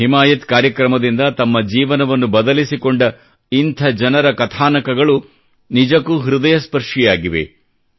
ಹಿಮಾಯತ್ ಕಾರ್ಯಕ್ರಮದಿಂದ ತಮ್ಮ ಜೀವನವನ್ನು ಬದಲಿಸಿಕೊಂಡ ಇಂಥ ಜನರ ಕಥಾನಕಗಳು ನಿಜಕ್ಕೂ ಹೃದಯಸ್ಪರ್ಶಿಯಾಗಿವೆ